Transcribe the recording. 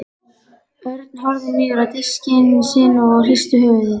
Örn horfði niður á diskinn sinn og hristi höfuðið.